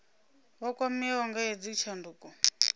vha kwameaho nga hedzi tshanduko